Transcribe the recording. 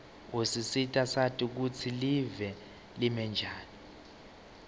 usisita sati kutsi live limenjani